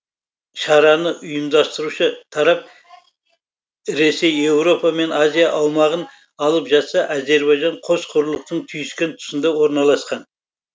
шараны ұйымдастырушы тарап ресей еуропа мен азия аумағын алып жатса әзербайжан қос құрлықтың түйіскен тұсында орналасқан